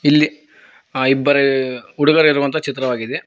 ಇಲ್ಲಿ ಇಬ್ಬರು ಹುಡುಗರು ಇರುವಂತ ಚಿತ್ರವಾಗಿದೆ.